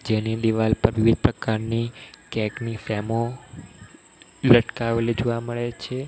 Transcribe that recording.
જેની દિવાલ પર વિવિધ પ્રકારની કેક ની ફેમો લટકાવેલી જોવા મળે છે.